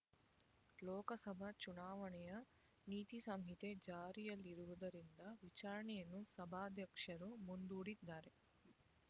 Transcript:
ಲೋಕಸಭಾ ಚುನಾವಣೆಯ ನೀತಿ ಸಂಹಿತೆ ಜಾರಿಯಲ್ಲಿರುವುದರಿಂದ ವಿಚಾರಣೆಯನ್ನು ಸಭಾಧ್ಯಕ್ಷರು ಮುಂದೂಡಿದ್ದಾರೆ